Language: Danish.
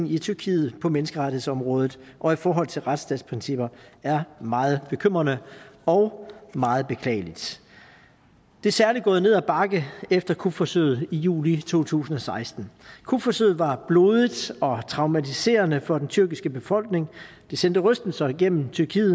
i tyrkiet på menneskerettighedsområdet og i forhold til retsstatsprincipper er meget bekymrende og meget beklagelig det er særlig gået ned ad bakke efter kupforsøget i juli to tusind og seksten kupforsøget var blodigt og traumatiserende for den tyrkiske befolkning det sendte rystelser igennem tyrkiet